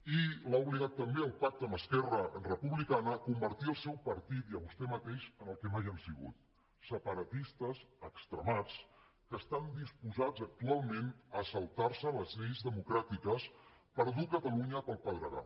i l’ha obligat també el pacte amb esquerra republicana a convertir el seu partit i vostè mateix en el que mai han sigut separatistes extremats que estan disposats actualment a saltar se les lleis democràtiques per dur catalunya pel pedregar